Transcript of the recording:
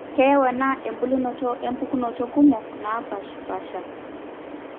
keyau ena embulunoto impukunot kumok naapaashipaasha